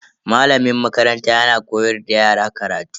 Malamin makaranta yana koyar da yara karatu.